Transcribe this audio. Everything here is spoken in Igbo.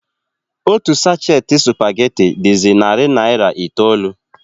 Otu sachet spaghetti dịzi narị naira itoolu.